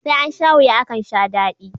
Sai ansha wuya akan sha dadi